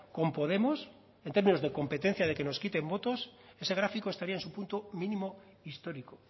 con podemos en términos de competencia de que nos quiten votos ese gráfico estaría en su punto mínimo histórico